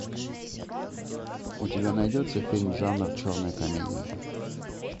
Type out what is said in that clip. у тебя найдется фильм жанр черная комедия